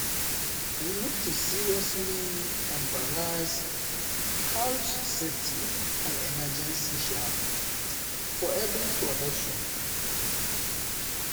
we need to seriously embrace health safety and emergency (hse) for evri production.